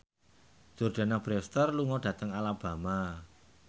Jordana Brewster lunga dhateng Alabama